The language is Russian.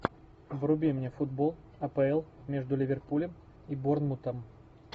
вруби мне футбол апл между ливерпулем и борнмутом